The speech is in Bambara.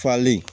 Falen